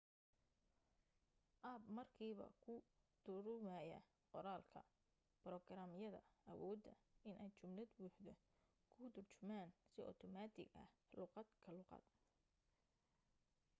app markiiba kuu turumaya qoraalka borograam yada awooda in ay jumlad buuxdo kuu turjumaan si automatic ah luuqad ka luuqad